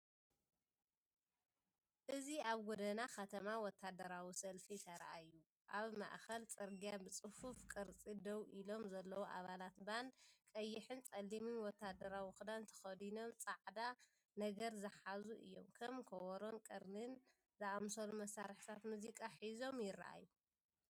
እዚ ኣብ ጎደና ከተማ ወተሃደራዊ ሰልፊ ተራእዩ። ኣብ ማእከል ጽርግያ ብጽፉፍ ቅርጺ ደው ኢሎም ዘለዉ ኣባላት ባንድ፡ ቀይሕን ጸሊምን ወተሃደራዊ ክዳን ተኸዲኖም ጻዕዳ ነገር ዝሓዙ እዮም። ከም ከበሮን ቀርኒን ዝኣመሰሉ መሳርሒታት ሙዚቃ ሒዞም ይረኣዩ።